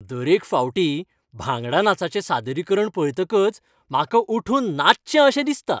दरेक फावटी भांगडा नाचाचें सादरीकरण पळयतकच म्हाका उठून नाचचें अशें दिसता.